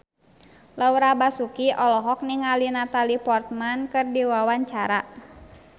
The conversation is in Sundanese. Laura Basuki olohok ningali Natalie Portman keur diwawancara